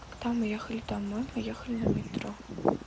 когда мы ехали домой мы ехали на метро